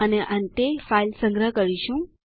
અને અંતે ફાઈલ સંગહ કરીશું